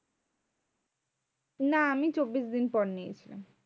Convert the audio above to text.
না আমি চব্বিশ দিন পর নিয়েছিলাম।